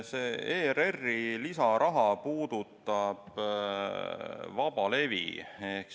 See ERR-i lisaraha puudutab vabalevi.